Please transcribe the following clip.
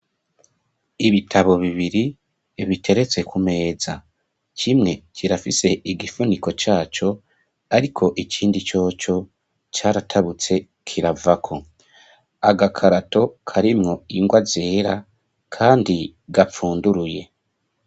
Ibitabo bibiri biteretse ku meza cimwe kirafise igifuniko caco, ariko ikindi coco caratabutse kiravako agakarato karimwo ingwa zera, kandi gapfunduruye.